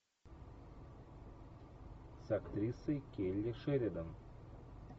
с актрисой келли шеридан